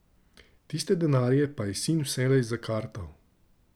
Tiste denarje pa je sin vselej zakartal.